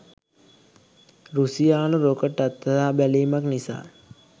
රුසියානු rocket අත්හදාබැලීමක් නිසා